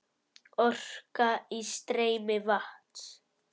Orka í streymi vatns.